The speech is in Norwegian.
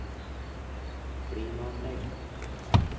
klimaanlegg